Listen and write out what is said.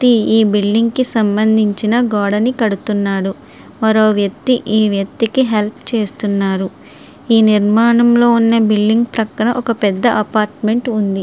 ఈ బిల్డింగ్ కి సంబంధించిన గార్డెన్ కడుతున్నారు. మరొక వ్యక్తి ఈ వ్యక్తికి హెల్ప్ చేస్తున్నారు. ఈ నిర్మాణంలో ఉన్న ఒక బిల్డింగు పక్కన పెద్ద అపార్ట్మెంట్ ఉంది.